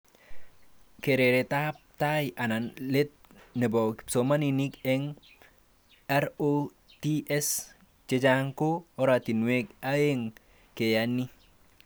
Keretab tai anan let nebo kipsomanink ang RCTs chechang ko oratinwek aeng keya ni